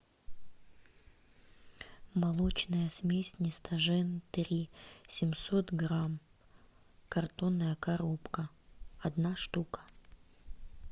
молочная смесь нестожен три семьсот грамм картонная коробка одна штука